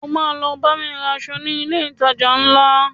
O ma lọ bámi ra aṣọ ní ilé ìtajà ńlá